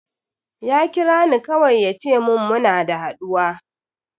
Ya kira ni kawai ya ce mun muna da haɗuwa.